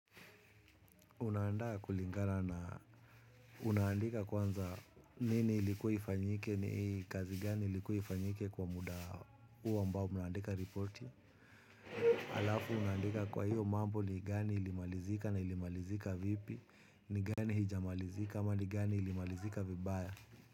Una aanda kulingana unaandika kwanza nini ilikuwa ifanyike ni kazi gani ilikuwa ifanyike kwa muda huo ambao, umeandika ripoti. Alafu unaandika kwa hiyo mambo ni gani ilimalizika na ilimalizika vipi, ni gani hijamalizika ama ni gani ilimalizika vibaya.